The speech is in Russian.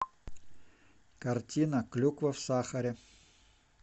картина клюква в сахаре